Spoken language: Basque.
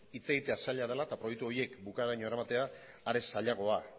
hitz egitea zaila dela eta proiektu horiek bukaeraraino eramatea are zailagoa